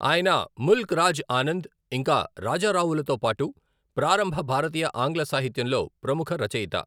ఆయన ముల్క్ రాజ్ ఆనంద్ ఇంకా రాజా రావులతో పాటు ప్రారంభ భారతీయ ఆంగ్ల సాహిత్యంలో ప్రముఖ రచయిత.